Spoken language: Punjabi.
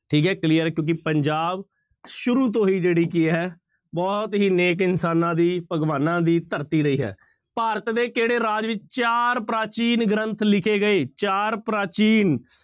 ਠੀਕ ਹੈ clear ਹੈ ਕਿਉਂਕਿ ਪੰਜਾਬ ਸ਼ੁਰੂ ਤੋਂ ਹੀ ਜਿਹੜੀ ਕੀ ਹੈ ਬਹੁਤ ਹੀ ਨੇਕ ਇਨਸਾਨਾਂ ਦੀ ਭਗਵਾਨਾਂ ਦੀ ਧਰਤੀ ਰਹੀ ਹੈ ਭਾਰਤ ਦੇ ਕਿਹੜੇ ਰਾਜ ਵਿੱਚ ਚਾਰ ਪ੍ਰਾਚੀਨ ਗ੍ਰੰਥ ਲਿਖੇ ਗਏ, ਚਾਰ ਪ੍ਰਾਚੀਨ